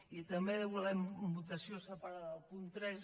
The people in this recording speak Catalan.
i també volem votació separada del punt tres